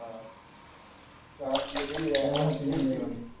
પેલી double cylinder વાળી